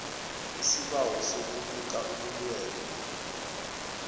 isibawo sokubika ubulwelwe